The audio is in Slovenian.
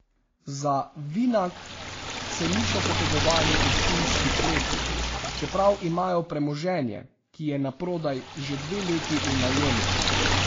Za Vinag se niso potegovali v Ptujski kleti, čeprav imajo premoženje, ki je naprodaj, že dve leti v najemu.